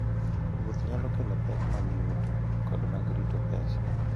Wuoth nyalo kelo pek mag yuto koda mag rito pesa.